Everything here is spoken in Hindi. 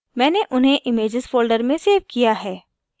मैंने उन्हें images folder में सेव किया है